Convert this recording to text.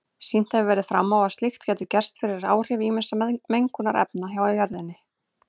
Sýnt hefur verið fram á að slíkt getur gerst fyrir áhrif ýmissa mengunarefna frá jörðinni.